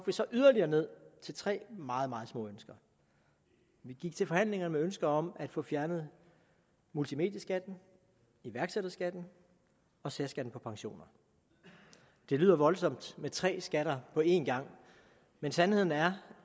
vi så yderligere ned til tre meget meget små ønsker vi gik til forhandlingerne med ønsker om at få fjernet multimedieskatten iværksætterskatten og særskatten på pensioner det lyder voldsomt med tre skatter på engang men sandheden er